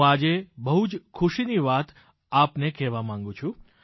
હું આજે બહુ જ ખુશીની વાત આપને કહેવા માંગુ છું